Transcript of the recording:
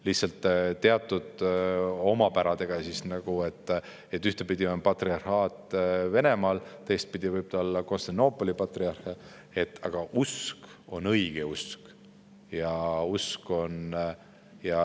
Lihtsalt teatud omapäradega, et ühtpidi on patriarhaat Venemaal, teistpidi võib ta olla Konstantinoopoli patriarhaat, aga usk on õigeusk.